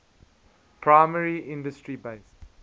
primary industry based